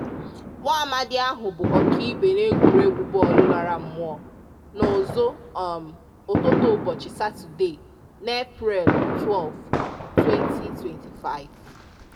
Nwaamadị ahụ bụ ọkaibe n'egwuruegwu bọọlụ lara mmụọ n'ụzụ um ụtụtụ ụbọchị Satọde, na Eprel 12, 2025.